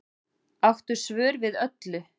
Áttu svör við öllu